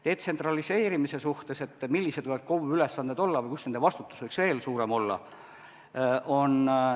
Detsentraliseerimine, et millised võivad KOV-i ülesanded olla ja kus nende vastutus võiks veel suurem olla?